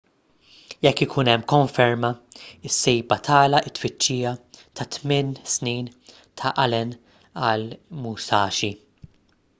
jekk ikun hemm konferma is-sejba tagħlaq it-tfittxija ta' tmien snin ta' allen għall-musashi